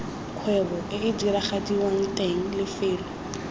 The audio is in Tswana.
kgwebo ee diragadiwang teng lefelo